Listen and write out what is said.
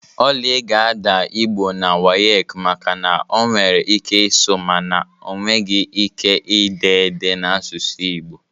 Oly ga-adaa Igbo na WAEC maka na ọ nwere ike ịsụ mana ọ nweghị ike ide ede n'asụsụ Igbo